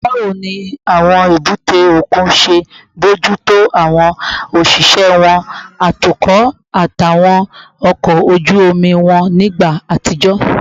Báwo ni àwọn èbúté òkun ṣe ń bójú tó àwọn òṣìṣẹ́ wọn, atukọ̀, àtàwọn ọkọ̀ ojú omi wọn nígbà àtijọ́?